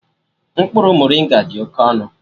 Mkpụrụ moringa dị oke ọnụ